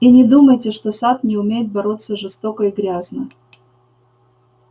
и не думайте что сатт не умеет бороться жестоко и грязно